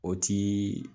O ti